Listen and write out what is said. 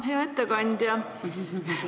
Hea ettekandja!